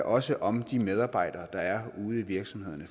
også om de medarbejdere der er ude i virksomhederne